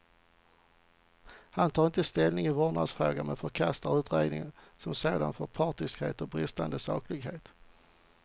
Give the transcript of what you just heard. Han tar inte ställning i vårdnadsfrågan, men förkastar utredningen som sådan för partiskhet och bristande saklighet.